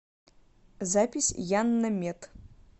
запись яннамед